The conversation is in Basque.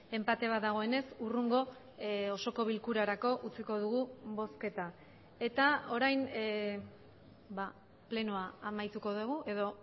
enpate bat dagoenez hurrengo osoko bilkurarako utziko dugu bozketa eta orain plenoa amaituko dugu edo